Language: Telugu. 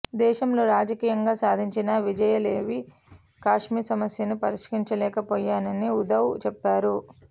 దేశంలో రాజకీయంగా సాధించిన విజయాలేవీ కశ్మీర్ సమస్యను పరిష్కరించలేకపోయాయని ఉద్దవ్ చెప్పారు